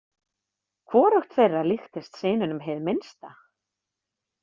Hvorugt þeirra líktist syninum hið minnsta.